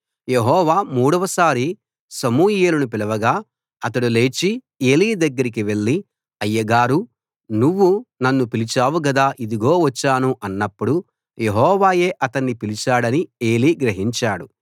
యెహోవా మూడవసారి సమూయేలును పిలవగా అతడు లేచి ఏలీ దగ్గరకి వెళ్ళి అయ్యగారూ నువ్వు నన్ను పిలిచావు గదా ఇదిగో వచ్చాను అన్నప్పుడు యెహోవాయే అతణ్ణి పిలిచాడని ఏలీ గ్రహించాడు